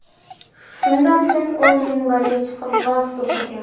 Shundan so‘ng u minbarga chiqib, va’z o‘qigan.